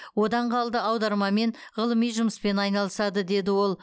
одан қалды аудармамен ғылыми жұмыспен айналысады деді ол